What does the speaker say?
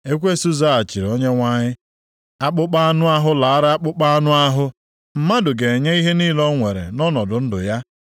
Ekwensu zaghachiri Onyenwe anyị, “Akpụkpọ anụ ahụ lara akpụkpọ anụ ahụ; mmadụ ga-enye ihe niile o nwere nʼọnọdụ ndụ ya.